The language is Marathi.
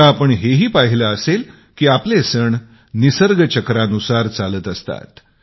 आता आपण हे ही पाहिले असेल की आपले सण निसर्ग चक्रानुसार चालत असतात